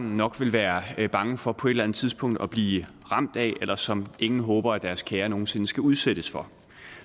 nok vil være bange for på et eller andet tidspunkt at blive ramt af eller som ingen håber at deres kære nogen sinde skal udsættes for